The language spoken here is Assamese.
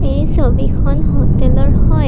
এই ছবিখন হোটেলৰ হয়।